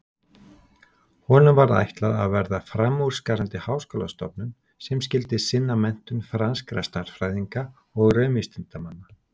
Honum var ætlað að verða framúrskarandi háskólastofnun sem skyldi sinna menntun franskra stærðfræðinga og raunvísindamanna.